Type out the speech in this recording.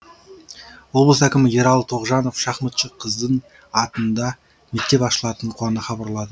облыс әкімі ералы тоғжанов шахматшы қыздың атында мектеп ашылатынын қуана хабарла